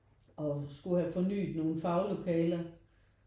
Og skulle have fornyet nogle faglokaler